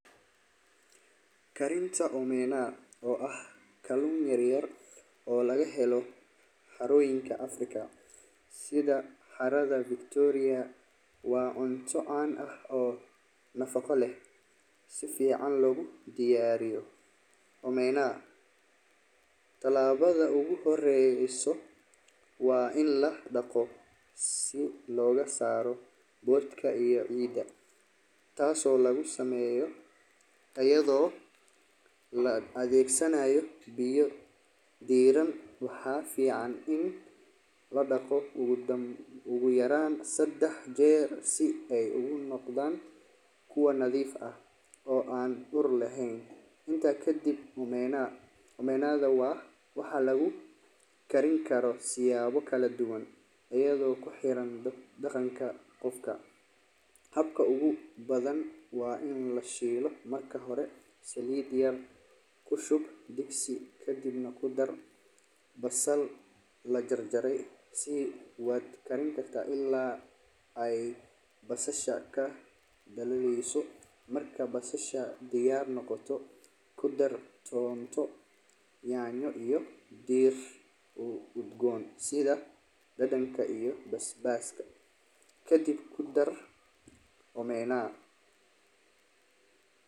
Karinta omena waa kalun yar yar oo laga helo xaroyinka africa sitha xaraada Victoria waa cunto can ah oo nafaqo leh sifican logu diyariyo omena tilabaada ogu horeso waa in la daqo si loga saro wadka iyaada oo la adhegsanaya in la daqo, inta kadiib omena waxaa lagu karin karaa kadib nah qudar basal kadiib kudar ton kadiib kudar omena.